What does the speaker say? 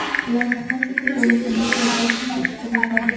Ularni qancha ko‘p o‘ylasangiz vaziyat shuncha chuqurlashadi.